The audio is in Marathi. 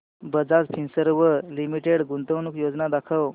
बजाज फिंसर्व लिमिटेड गुंतवणूक योजना दाखव